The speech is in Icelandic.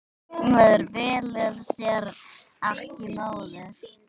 Maður velur sér ekki móður.